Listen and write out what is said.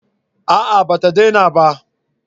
A'a ba ta dena ba